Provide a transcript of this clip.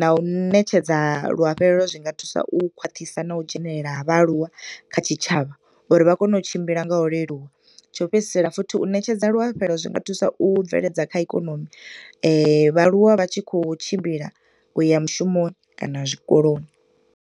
na u ṋetshedza luafhelelo. Zwi nga thusa u khwaṱhisa na u dzhenelela ha vha aluwa kha tshi tshavha uri vha kone u tshimbila nga u leluwa, tsho u fhedzisela futhi, u ṋetshedza luafhelo zwi nga thusa u bveledza kha ikonomi. Vha aluwa vha tshi khou tshimbila uya mushumoni kana zwikoloni.